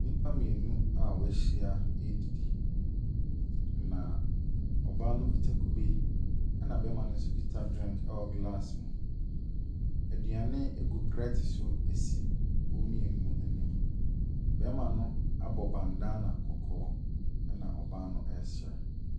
Nnipa mmienu a wɔahyia redidi. Na ɔbaa no kita kube, ɛna barima no nso kita drink wɔ glass mu. Aduane gu plɛte so si wɔn mmienu anim. Barima no abɔ bandana kɔkɔɔ, ɛna ɔbaa no resere.